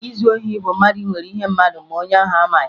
Izu ohi bụ mmadụ iwere ihe mmadụ ma onye ahụ amaghị